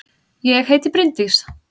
Ég heiti Bryndís!